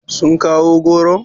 Sun kawo goron?